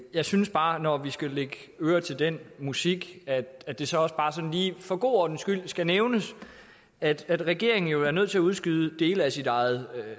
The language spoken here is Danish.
jeg synes bare når vi skal lægge øre til den musik at det så også for god ordens skyld skal nævnes at regeringen jo er nødt til at udskyde dele af sit eget